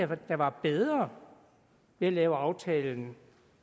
var der var bedre ved at lave aftalen